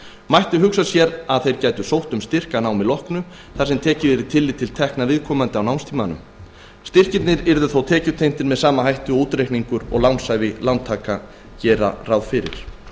mætti hugsa sér að þeir gætu sótt um styrk að námi loknu þar sem tekið yrði tillit til tekna viðkomandi á námstímanum styrkirnir yrðu þó tekjutengdir með sama hætti og útreikningar og lánshæfi lántaka gera ráð fyrir